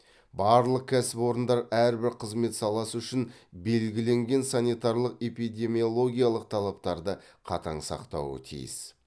барлық кәсіпорындар әрбір қызмет саласы үшін белгіленген санитарлық эпидемиологиялық талаптарды қатаң сақтауы тиіс